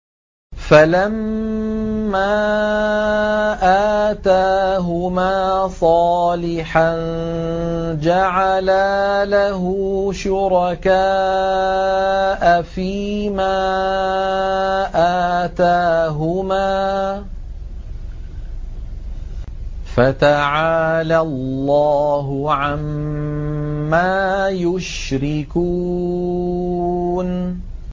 فَلَمَّا آتَاهُمَا صَالِحًا جَعَلَا لَهُ شُرَكَاءَ فِيمَا آتَاهُمَا ۚ فَتَعَالَى اللَّهُ عَمَّا يُشْرِكُونَ